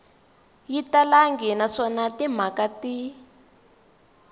yi talangi naswona timhaka ti